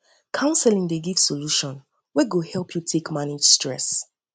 counseling dey fit give solution wey go help yu take help yu take manage stress